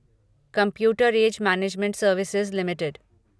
computer age management services limited